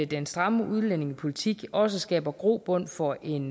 den stramme udlændingepolitik også skaber grobund for en